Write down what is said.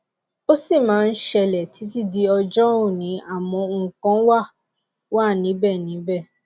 ó sì máa ń ṣẹlẹ títí di ọjọ òní àmọ nǹkan wá wa níbẹ níbẹ